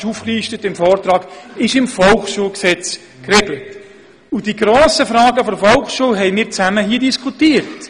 Dies alles ist, wie im Vortrag aufgelistet wird, im Volksschulgesetz geregelt, und die grossen Fragen der Volksschule haben wir hier gemeinsam diskutiert.